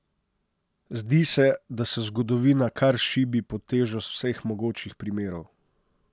Zdi se, da se zgodovina kar šibi pod težo vseh mogočih primerov.